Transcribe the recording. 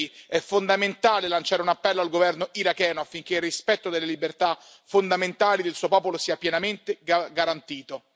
Colleghi, è fondamentale lanciare un appello al governo iracheno affinché il rispetto delle libertà fondamentali del suo popolo sia pienamente garantito.